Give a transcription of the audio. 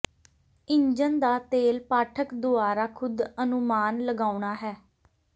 engine ਦਾ ਤੇਲ ਪਾਠਕ ਦੁਆਰਾ ਖ਼ੁਦ ਅਨੁਮਾਨ ਲਗਾਉਣਾ ਹੈ